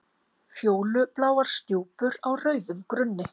Fjólubláar stjúpur á rauðum grunni.